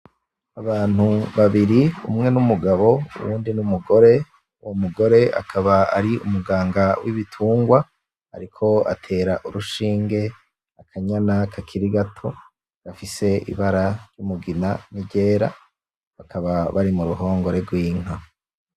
Abantu babiri umwe n’mugabo uwundi n’umugore, uwo mugore akaba ari umuganga w’ibitungwa ariko atera urushinge akanyana kakiri gato gafise ibara ry’umugina n’iryera bakaba Bari mu ruhongore rw’inka.